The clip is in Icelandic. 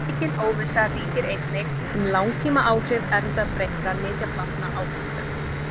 Mikil óvissa ríkir einnig um langtímaáhrif erfðabreyttra nytjaplantna á umhverfið.